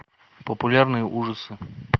популярные ужасы